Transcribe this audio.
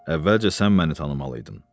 Əvvəlcə sən məni tanımalıydın.